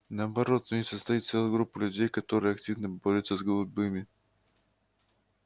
наоборот в ней состоит целая группа людей которая активно борется с голубыми